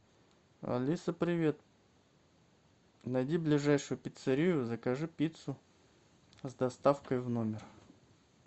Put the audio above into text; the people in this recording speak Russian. алиса привет найди ближайшую пиццерию закажи пиццу с доставкой в номер